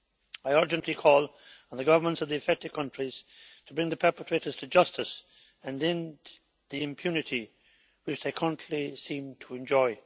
I urgently call on the governments of the affected countries to bring the perpetrators to justice, and to end the impunity which they currently seem to enjoy.